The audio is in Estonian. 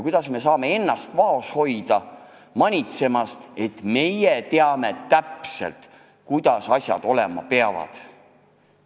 Kuidas me saame ennast vaos hoida manitsemast, et meie teame täpselt, kuidas asjad olema peavad?